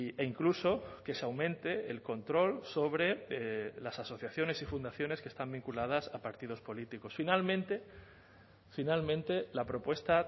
e incluso que se aumente el control sobre las asociaciones y fundaciones que están vinculadas a partidos políticos finalmente finalmente la propuesta